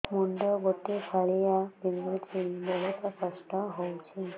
ମୁଣ୍ଡ ଗୋଟେ ଫାଳିଆ ବିନ୍ଧୁଚି ବହୁତ କଷ୍ଟ ହଉଚି